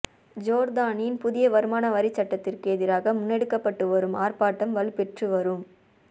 ஜோர்தானின் புதிய வருமான வரிச்சட்டத்திற்கு எதிராக முன்னெடுக்கப்பட்டு வரும் ஆர்ப்பாட்டம் வலுப்பெற்று வ